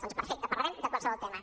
doncs perfecte parlarem de qualsevol tema